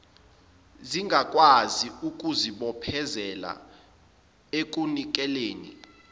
zingakwazi ukuzibophezelela ekunikeleni